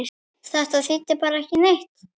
Þetta þýddi bara eitt!